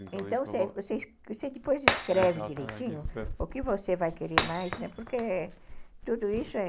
Então, você depois escreve direitinho o que você vai querer mais, né, porque tudo isso é...